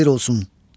Sənə əsir olsun.